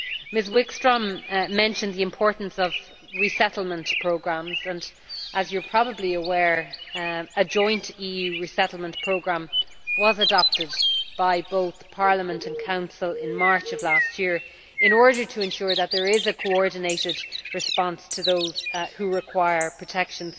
Ms Wikström mentioned the importance of resettlement programmes and, as you are probably aware, a joint EU resettlement programme was adopted by both Parliament and the Council in March of last year, in order to ensure that there is a coordinated response to those who require protection.